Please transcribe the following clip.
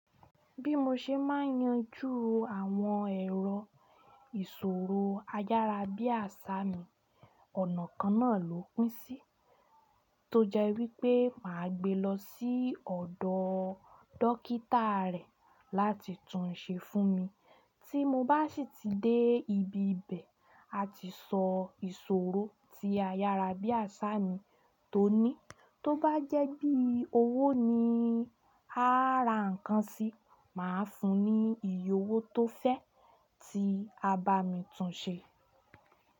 Bí mo ṣe máa yanju àwọn ẹ̀rọ ìṣòro ayára bí àṣá mi, ọ̀nà kan náà ló pín sí, tó jẹ́ wípé màá gbé lọ sí ọ̀dọ̀ dókítà rẹ̀ láti tún un ṣe fún mi. Tí mo bá sì ti dé ibi ibẹ̀, a ti sọ ìṣòro tí ayára bí àṣá mi tó ní. Tó bá jẹ́ bí owó ni a á ra nǹkan si, màá fún un ní iye owó tó fẹ́ tí a bá mi tún un ṣe.